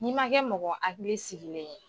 N'i man kɛ mɔgɔ hakili sigilen ye.